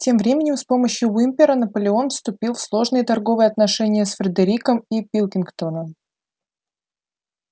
тем временем с помощью уимпера наполеон вступил в сложные торговые отношения с фредериком и пилкингтоном